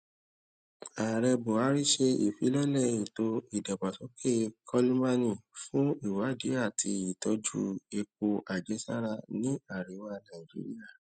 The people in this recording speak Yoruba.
ààrẹ buhari ṣe ìfilọlẹ ètò ìdàgbàsókè kolmani fún ìwádìí àti ìtọjú epo àjẹsára ní àríwá nàìjíríà